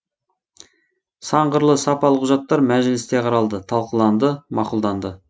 сан қырлы сапалы құжаттар мәжілісте қаралды талқыланды мақұлданды